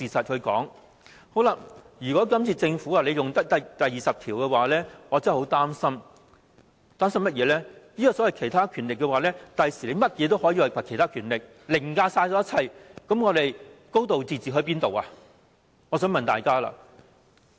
這次政府引用《基本法》第二十條，我真的很擔心，政府日後可以把甚麼事也說成是其他權力，凌駕一切，我想問大家，還會有"高度自治"嗎？